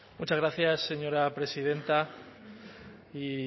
muchas gracias señora presidenta y